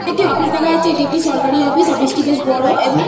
একটি অফিস দেখা যাচ্ছে। এটি একটি সরকারি অফিস । অফিস টি বড় এবং--